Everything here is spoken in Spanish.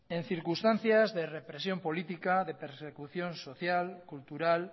en circunstancias de represión política de persecución social cultural